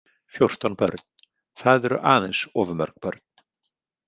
Fjórtán börn, það eru aðeins of mörg börn.